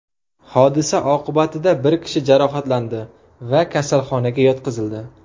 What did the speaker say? Hodisa oqibatida bir kishi jarohatlandi va kasalxonaga yotqizildi.